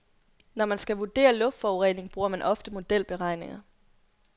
Når man skal vurdere luftforurening, bruger man ofte modelberegninger.